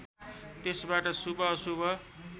त्यसबाट शुभ अशुभ